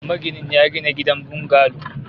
Maginin ya gina gidan bungalo